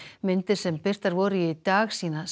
myndir sem birtar voru í dag sýna